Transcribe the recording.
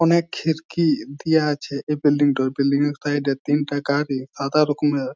অনেক খিড়কি দেওয়া আছে এই বিল্ডিং টা বিল্ডিং -এর সাইড এ তিনটা গাড়ি সাদা রকমের।